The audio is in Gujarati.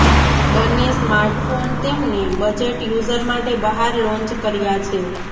બંને સ્માર્ટફોન તેમને બજેટ યુઝર માટે બહાર લોન્ચ કર્યા છે